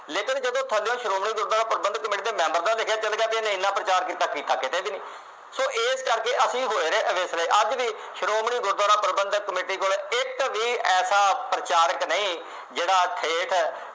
ਲੇਕਿਨ ਜਦੋਂ ਥੱਲਿਓ ਸ਼੍ਰੋਮਣੀ ਗੁਰਦੁਆਰਾ ਪ੍ਰਬੰਧਕ ਕਮੇਟੀ ਦੇ ਮੈਂਬਰ ਦਾ ਲਿਖਿਆ ਚੱਲ ਗਿਆ ਬਈ ਇਹਨੇ ਪ੍ਰਚਾਰ ਕੀਤਾ ਕੀਤਾ ਕਿਤੇ ਵੀ ਨਹੀਂ ਸੋ ਇਸ ਕਰਕੇ ਅਸੀਂ ਹੋਏ ਅਵੇਸਲੇ ਅੱਜ ਵੀ ਸ਼੍ਰੋਮਣੀ ਗੁਰਦੁਆਰਾ ਪ੍ਰਬੰਧਕ ਕਮੇਟੀ ਕੋਲੇ ਇਕ ਵੀ ਐਸਾ ਪ੍ਰਚਾਰਕ ਨਹੀਂ ਜਿਹੜਾ ਠੇਠ